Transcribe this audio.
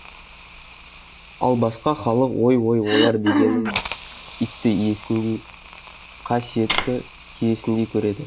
ал басқа халық ой ой олар дегеніңіз итті иесіндей қа сиетті киесіндей көреді